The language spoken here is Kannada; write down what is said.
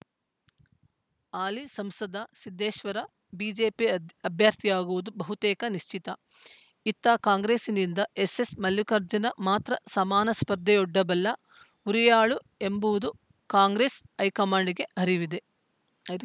ಹಾಲಿ ಸಂಸದ ಸಿದ್ದೇಶ್ವರ ಬಿಜೆಪಿ ಅದ್ ಅಭ್ಯರ್ಥಿಯಾಗುವುದು ಬಹುತೇಕ ನಿಶ್ಚಿತ ಇತ್ತ ಕಾಂಗ್ರೆಸ್ಸಿನಿಂದ ಎಸ್ಸೆಸ್‌ ಮಲ್ಲಿಕಾರ್ಜುನ ಮಾತ್ರ ಸಮಾನ ಸ್ಪರ್ಧೆಯೊಡ್ಡಬಲ್ಲ ಹುರಿಯಾಳು ಎಂಬುದೂ ಕಾಂಗ್ರೆಸ್‌ ಹೈಕಮಾಂಡ್‌ಗೆ ಅರಿವಿದೆ ಅರಿ